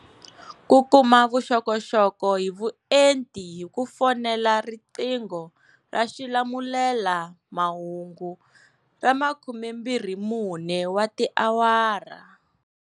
Ku kuma vuxokoxoko hi vuenti hi ku fonela riqingho ra xilamulelamahungu ra 24 wa tiawara.